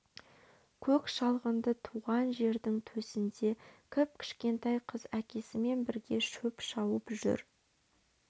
көк шалғынды туған жердің төсінде кіп-кішкентай қыз әкесімен бірге шөп шауып жүр